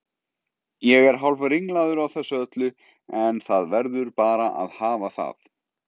Ég er hálfringlaður á þessu öllu en það verður bara að hafa það.